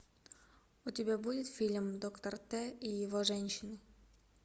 у тебя будет фильм доктор т и его женщины